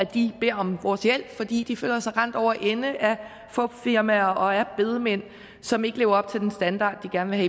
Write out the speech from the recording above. de beder om vores hjælp fordi de føler sig rendt over ende af fupfirmaer og af bedemænd som ikke lever op til den standard de gerne